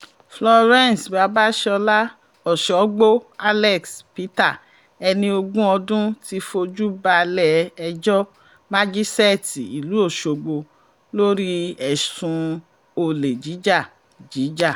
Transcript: florence babasola ọ̀ṣọ́gbó alex peter ẹni ogún ọdún ti fojú balẹ̀-ẹjọ́ májíṣẹ́ẹ̀tì ìlú ọ̀ṣọ́gbó lórí ẹ̀sùn olè jíjà jíjà